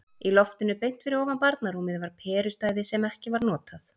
Í loftinu beint fyrir ofan barnarúmið var perustæði sem ekki var notað.